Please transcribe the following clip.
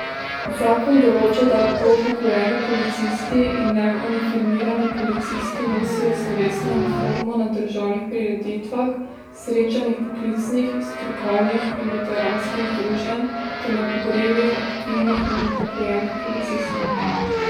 Zakon določa, da lahko upokojeni policisti in neuniformirani policisti nosijo slovesno uniformo na državnih prireditvah, srečanjih poklicnih, strokovnih in veteranskih združenj ter na pogrebih aktivnih in upokojenih policistov.